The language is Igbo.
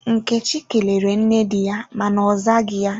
Nkechi kelere nne di ya ma na ozaghi ya.